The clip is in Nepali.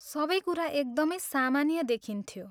सबै कुरा एकदमै सामान्य देखिन्थ्यो।